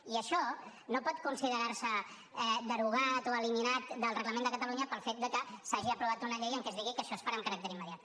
i això no pot considerar se derogat o eliminat del reglament del parlament de catalunya pel fet de que s’hagi aprovat una llei en què es digui que això es farà amb caràcter immediat